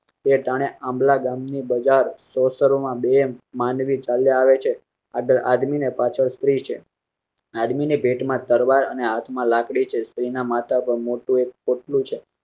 તે આંબલા ગામ ને બજાર સોંસરો માં બે માનવી ચાલ્યાં આવે છે. આદમી ના પાછળ સ્ત્રી છે આદમી ની ભેટ માં તરવાર અને હાથ માં લાકડી છે. સ્ત્રી ના માથા પર મોટું પોટલું છે.